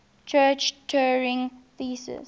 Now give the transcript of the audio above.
church turing thesis